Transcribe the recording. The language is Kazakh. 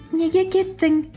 неге кеттің